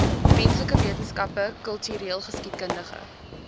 menslike wetenskappe kultureelgeskiedkundige